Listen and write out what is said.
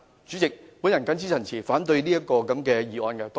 主席，我謹此陳辭，反對這項議案。